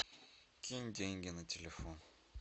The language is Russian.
кинь деньги на телефон